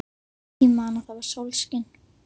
Ég man að það var sólskin.